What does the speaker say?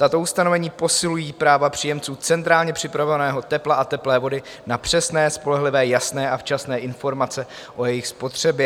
Tato ustanovení posilují práva příjemců centrálně přepravovaného tepla a teplé vody na přesné, spolehlivé, jasné a včasné informace o jejich spotřebě.